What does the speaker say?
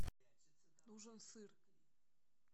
нужен сыр